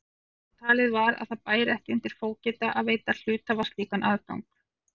Talið var að það bæri ekki undir fógeta að veita hluthafa slíkan aðgang.